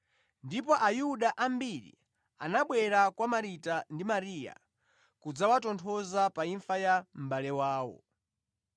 ndipo Ayuda ambiri anabwera kwa Marita ndi Mariya kudzawatonthoza pa imfa ya mʼbale wawo.